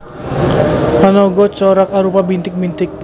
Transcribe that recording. Ana uga corak arupa bintik bintik